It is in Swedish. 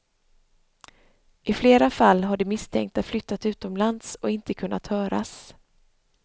I flera fall har de misstänkta flyttat utomlands och inte kunnat höras.